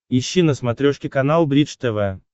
ищи на смотрешке канал бридж тв